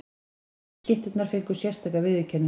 Bestu skytturnar fengu sérstaka viðurkenningu.